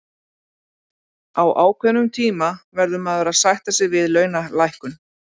Á ákveðnum tíma verður maður að sætta sig við launalækkun.